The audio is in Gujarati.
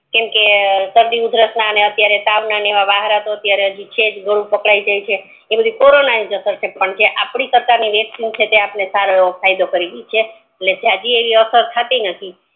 કેમકે સરડી ઉધરસ ના ને તાવ ના ને એવા વાહરતો હજુ છે જ ઘડું પક્કડે જાય છે ઈ બધી કોરોના નિજ અસર છે પણ આપડ સરકાર છે ઈ યપદ દેશ સારું એવું ફાયદો કરી ગઈ છે એટલે જાજી એવી અસર થતી નથી